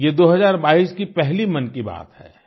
ये 2022 की पहली मन की बात है